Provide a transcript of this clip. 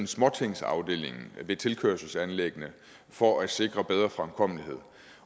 småtingsafdelingen ved tilkørselsanlæggene for at sikre bedre fremkommelighed